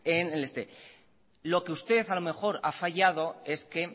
lo que usted a lo mejor ha fallado es que